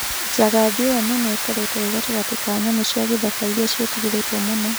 Njagathi ĩyo nene ĩkoretwo ĩ gatagatĩ ka nyamũ cia gĩthaka irĩa cietigeretwo mũno